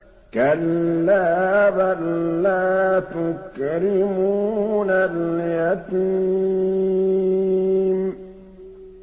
كَلَّا ۖ بَل لَّا تُكْرِمُونَ الْيَتِيمَ